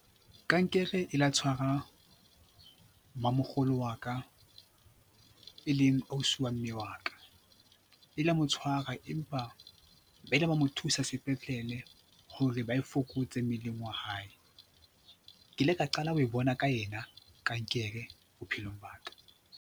Kankere e la tshwara mamokgolo wa ka, e leng ausi wa mme wa ka, e la mo tshwara empa ba ile ba mo thusa sepetlele hore ba e fokotse mmeleng wa hae. Ke ile ka qala ho e bona ka yena kankere bophelong ba ka.